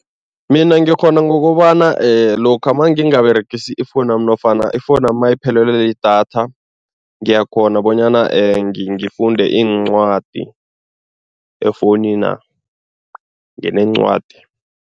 Mina ngikghona ngokobana lokha mangingaberegisi ifowunu yami nofana ifowunu yami nayiphelelwe lidatha, ngiyakghona bonyana ngifunde iincwadi efowunina, ngineencwadi.